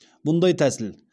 мұндай тәсіл